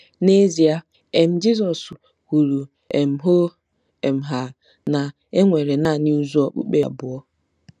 N'ezie, um Jizọs kwuru um hoo um haa na e nwere nanị ụzọ okpukpe abụọ.